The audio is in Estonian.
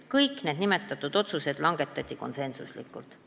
Kõik nimetatud otsused langetati konsensuslikult.